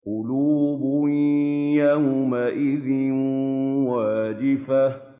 قُلُوبٌ يَوْمَئِذٍ وَاجِفَةٌ